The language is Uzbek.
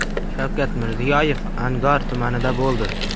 Shavkat Mirziyoyev Angor tumanida bo‘ldi.